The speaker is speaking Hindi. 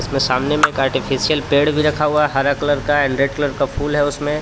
इसमें सामने में आर्टिफिशियल पेड़ भी रखा हुआ हरा कलर का ऐंड रेड कलर का फूल है उसमें.